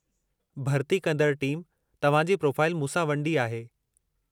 भरिती कंदड़ टीम तव्हां जी प्रोफ़ाइल मूं सां वंडी आहे।